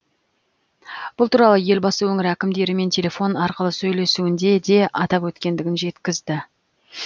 бұл туралы елбасы өңір әкімдерімен телефон арқылы сөйлесуінде де атап өткендігін жеткізді